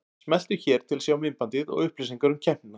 Smelltu hér til að sjá myndbandið og upplýsingar um keppnina